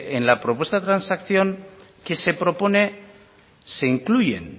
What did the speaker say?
en la propuesta de transacción que se propone se incluyen